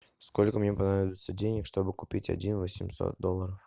сколько мне понадобится денег чтобы купить один восемьсот долларов